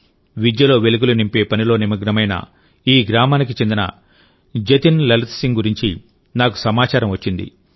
విద్యలో వెలుగులు నింపే పనిలో నిమగ్నమైన ఈ గ్రామానికి చెందిన జతిన్ లలిత్ సింగ్ గురించి నాకు సమాచారం వచ్చింది